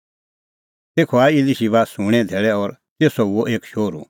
तेखअ आऐ इलीशिबे सूंणें धैल़ै और तेसो हुअ एक शोहरू